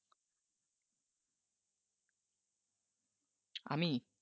আমি